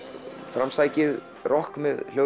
framsækið rokk með